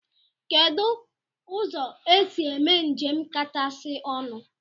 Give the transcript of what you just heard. Kedụ ụzọ esi eme njem kachasị ọnụ?